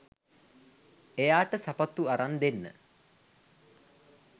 එයාට සපත්තු අරන් දෙන්න